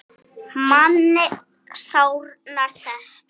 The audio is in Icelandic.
Manni sárnar þetta.